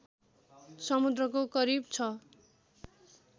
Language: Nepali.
समुद्रको करिब ६